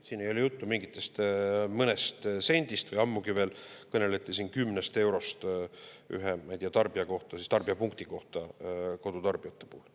Siin ei ole juttu mingist mõnest sendist või ammugi veel, kõneleti siin kümnest eurost ühe tarbija kohta, tarbijapunkti kohta kodutarbijate puhul.